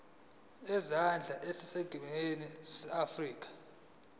zezandla zaseningizimu afrika